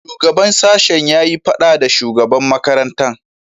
Shugaban sashen ya yi fada da shugaban makarantan.